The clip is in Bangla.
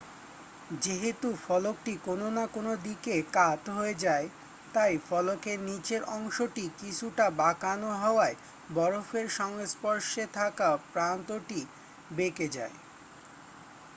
যেহেতু ফলকটি কোন না কোন দিকে কাত হয়ে যায় তাই ফলকের নীচের অংশটি কিছুটা বাঁকানো হওয়ায় বরফের সংস্পর্শে থাকা প্রান্তটিও বেঁকে যায়